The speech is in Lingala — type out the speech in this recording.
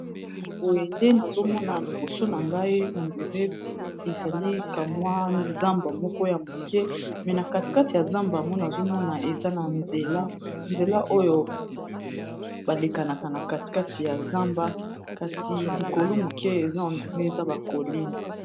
basi boye nde nazomona liboso na ngai endiré ezali kamwa zamba moko ya moke me na katikati ya zamba yango nazomona eza na eanzela oyo balekanaka na katikati ya zamba kasi likolo moke eza hendiré eza ba coline